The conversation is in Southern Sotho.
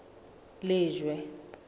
lejwe